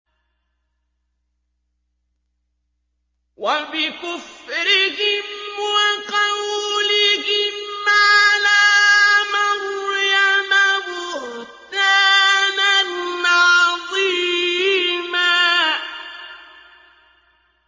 وَبِكُفْرِهِمْ وَقَوْلِهِمْ عَلَىٰ مَرْيَمَ بُهْتَانًا عَظِيمًا